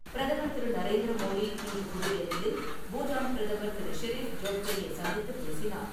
பிரதமர் திரு. நரேந்திர மோடி இன்று புதுடெல்லியில் பூட்டான் பிரதமர் திரு. ஷெரீஃப் டோப்கே-யை சந்தித்துப் பேசினார்.